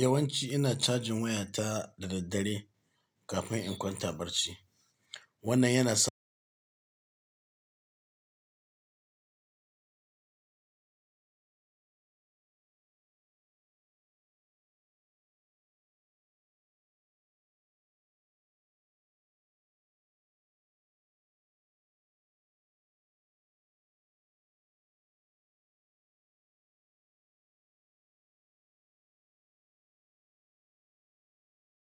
Yawanci ina cajin wayata da daddare kafin in kwanta barci. Wannan yana sa ni in iya amfani